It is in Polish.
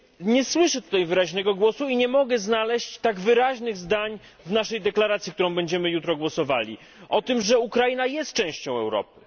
Nie słyszę tutaj wyraźnego głosu i nie mogę znaleźć tak wyraźnych zdań w naszej deklaracji, nad którą będziemy jutro głosowali, o tym, że Ukraina jest częścią Europy.